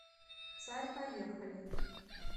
царь поехали